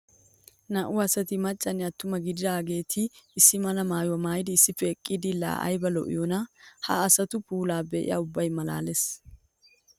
Naa'u asatti macanne atuma gididaagetti issi mala maayuwa maayiddi issippe eqiddi laa aybba lo'iyoona. Ha asattu puulay be'a ubba malaales.